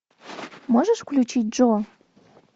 можешь включить джо